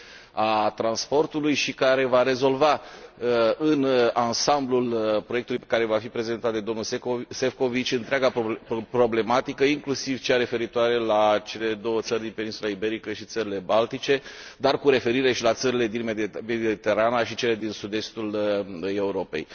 a transportului și care va rezolva în ansamblul proiectului care va fi prezentat de domnul Šefčovič întreaga problematică, inclusiv cea referitoare la cele două țări din peninsula Iberică și țările baltice, dar cu referire și la țările din Mediterana și cele din sud estul Europei.